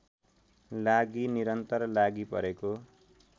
लागि निरन्तर लागिपरेको